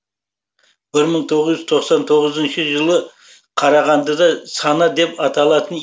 бір мың тоғыз жүз тоқсан тоғызыншы жылы қарағандыда сана деп аталатын